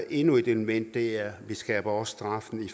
endnu et element er at vi skærper straffen